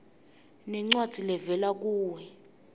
nencwadzi levela kuwe